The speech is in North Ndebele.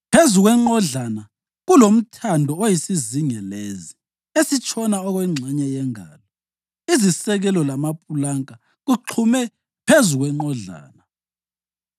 Phezu kwenqodlana kulomthando oyisizingelezi esitshona okwengxenye yengalo. Izisekelo lamapulanka kuxhume phezu kwenqodlana.